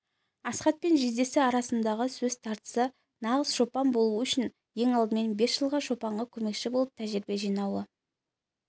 асхат пен жездесі арасындағы сөз тартысы нағыз шопан болу үшін ең алдымен бес жыл шопанға көмекші болып тәжірибе жинауы